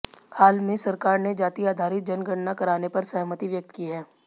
हाल में सरकार ने जाति आधारित जनगणना कराने पर सहमति व्यक्त की है